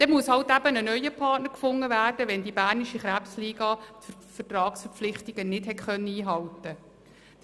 Es muss halt eben ein neuer Partner gefunden werden, wenn die Bernische Krebsliga die Vertragsverpflichtungen nicht einhalten kann.